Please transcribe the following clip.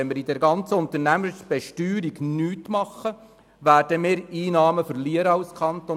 Wenn wir bezüglich der Unternehmensbesteuerung nichts tun, werden wir als Kanton Bern Einnahmen verlieren.